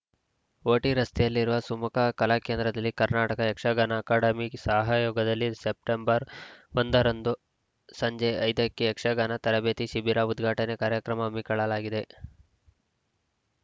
OT ರಸ್ತೆಯಲ್ಲಿರುವ ಸುಮುಖ ಕಲಾಕೇಂದ್ರದಲ್ಲಿ ಕರ್ನಾಟಕ ಯಕ್ಷಗಾನ ಅಕಾಡೆಮಿ ಸಹಯೋಗದಲ್ಲಿ ಸೆಪ್ಟೆಂಬರ್ ಒಂದರಂದು ಸಂಜೆ ಐದಕ್ಕೆ ಯಕ್ಷಗಾನ ತರಬೇತಿ ಶಿಬಿರ ಉದ್ಘಾಟನೆ ಕಾರ್ಯಕ್ರಮ ಹಮ್ಮಿಕೊಳ್ಳಲಾಗಿದೆ